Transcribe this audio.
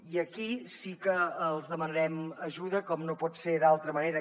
i aquí sí que els demanarem ajuda com no pot ser d’altra manera